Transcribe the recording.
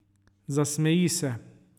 Zasmeji se.